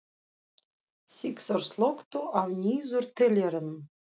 Sigþór, slökktu á niðurteljaranum.